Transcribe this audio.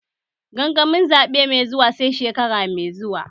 Gangamin zaɓe mai zuwa sai shekara mai zuwa